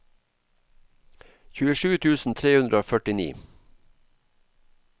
tjuesju tusen tre hundre og førtini